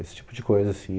Esse tipo de coisa, assim.